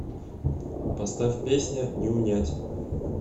поставь песня не унять